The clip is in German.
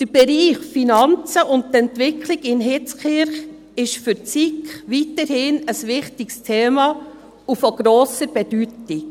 Der Bereich Finanzen und Entwicklung in Hitzkirch ist für die SiK weiterhin ein wichtiges Thema und von grosser Bedeutung.